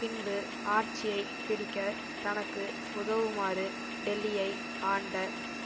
பின்பு ஆட்சியை பிடிக்க தனக்கு உதுவுமாறு டெல்லியை ஆண்ட